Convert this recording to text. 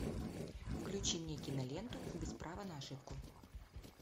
включи мне киноленту без права на ошибку